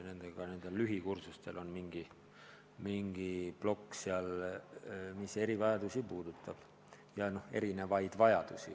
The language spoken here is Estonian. Nende n-ö lühikursustel on mingi plokk, kus käsitletakse erivajadusi või õigemini erinevaid vajadusi.